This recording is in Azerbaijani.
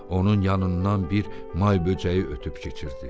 Onun yanından bir may böcəyi ötüb keçirdi.